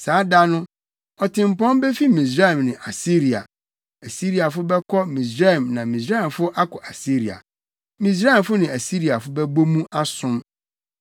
Saa da no, ɔtempɔn befi Misraim ne Asiria. Asiriafo bɛkɔ Misraim na Misraimfo akɔ Asiria. Misraimfo ne Asiriafo bɛbɔ mu asom.